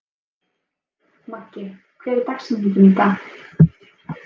Maggi, hver er dagsetningin í dag?